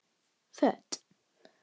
Föt